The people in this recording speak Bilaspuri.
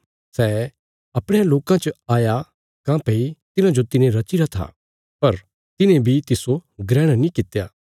सै अपणयां लोकां च आया काँह्भई तिन्हांजो तिने रचीरा था पर तिन्हें बी तिस्सो ग्रहण नीं कित्या